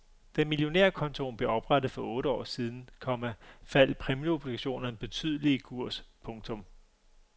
Da millionærkontoen blev oprettet for otte år siden, komma faldt præmieobligationerne betydeligt i kurs. punktum